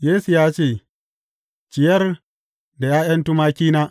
Yesu ya ce, Ciyar da ’ya’yan tumakina.